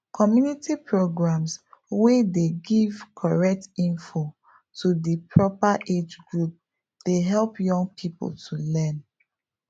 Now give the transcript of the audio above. community programs wey dey give correct info to di proper age group dey help young people to learn